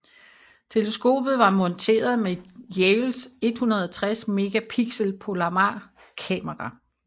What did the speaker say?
Teleskopet var monteret med Yales 160 megapixel Palomar kamera